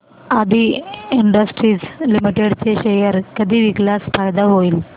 आदी industries limited चे share कधी विकल्यास फायदा होईल